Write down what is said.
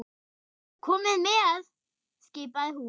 Komiði með! skipaði hún.